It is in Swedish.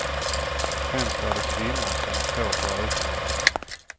Främst är det kvinnor som står för ökningen.